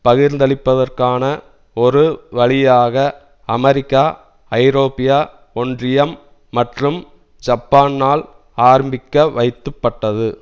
பகிர்ந்தளிப்பதற்கான ஒரு வழியாக அமெரிக்கா ஐரோப்பிய ஒன்றியம் மற்றும் ஜப்பானால் ஆரம்பிக்கவைத்துப்பட்டது